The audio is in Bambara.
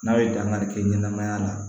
N'a ye dankari kɛ ɲɛnɛmaya la